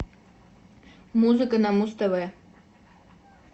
музыка на муз тв